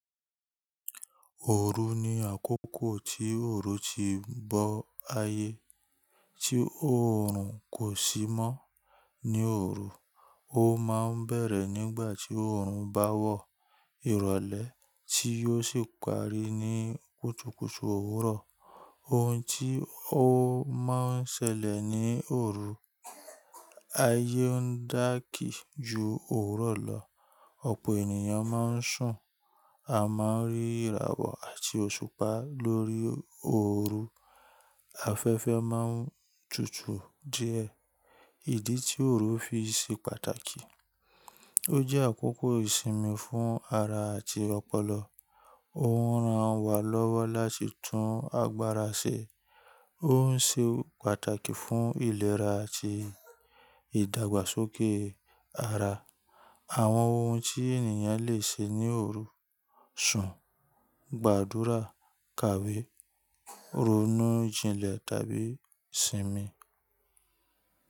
Òru ni àkókò tí òòru ti bọ́ ayé, tí òòrùn kò sí mọ́ ní òru. Ó máa ń bẹ̀rẹ̀ nígbà tí òòrùn bá wọ ìrọ̀lẹ́ tí ó sì parí ní kùtùkùtù òwúrọ̀. Ohun tí ó máa ń ṣẹlẹ̀ ní òru, ayé ń dákì ju òwúrọ̀ lọ, ọ̀pọ̀ ènìyàn máa ń sùn, a máa ń rí ìràwọ̀ àti òṣùpá lórí òru, afẹ́fẹ́ máa ń tutù díẹ̀. Ìdí tí òru fi ṣe pàtàkì, ó jẹ́ àkókò ìsinmi fún ara àti ọpọlọ, ó ń rán wa lọ́wọ́ láti tún agbára ṣe, ó ń ṣe pàtàkì fún ìlera àti ìdàgbàsókè ara. Àwọn ohun tí ènìyàn lè ṣe ní òru, sùn, gbàdúrà, kàwé, ronú jinlẹ̀ tàbí sinmi.